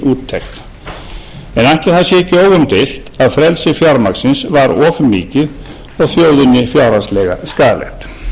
úttekt en ætli það sé ekki óumdeilt að frelsi fjármagnsins var of með og þjóðinni fjárhagslega skaðlegt